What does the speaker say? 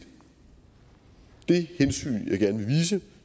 det hensyn